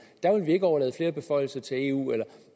ikke overlade flere beføjelser til eu eller at